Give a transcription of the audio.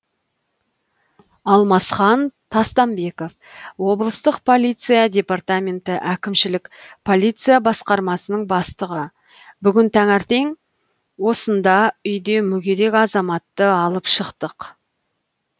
алмасхан тастанбеков облыстық полиция департаменті әкімшілік полиция басқармасының бастығы бүгін таңертең осында үйде мүгедек азаматты алып шықтық